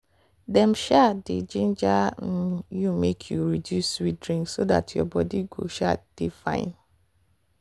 dem um dey ginger um you make you reduce sweet drink so dat your body go um dey fine.